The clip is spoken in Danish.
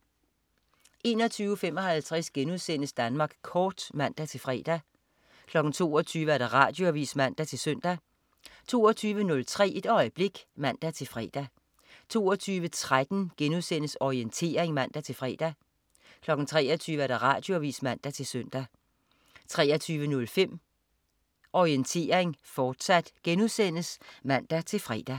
21.55 Danmark Kort* (man-fre) 22.00 Radioavis (man-søn) 22.03 Et øjeblik (man-fre) 22.13 Orientering* (man-fre) 23.00 Radioavis (man-søn) 23.05 Orientering, fortsat* (man-fre)